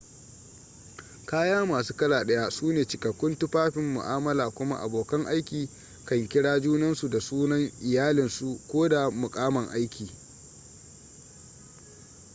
kaya masu kala ɗaya su ne cikakkun tufafin mu'amala kuma abokan aiki kan kira junansu da sunan iyalinsu ko da muƙaman aiki